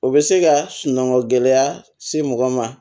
O bɛ se ka sunɔgɔ gɛlɛya se mɔgɔ ma